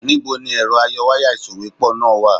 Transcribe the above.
Níbo ni ẹ̀rọ ayọwáyà ìsòwépọ̀ náà wà?